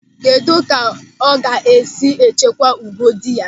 Kedụ ka ọ ga-esi echekwa ùgwù dị ya?